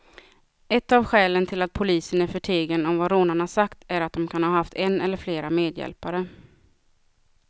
Ett av skälen till att polisen är förtegen om vad rånarna sagt är att de kan ha haft en eller flera medhjälpare.